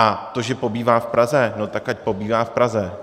A to, že pobývá v Praze, no tak ať pobývá v Praze.